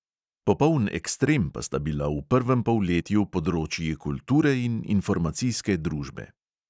Popoln ekstrem pa sta bila v prvem polletju področji kulture in informacijske družbe.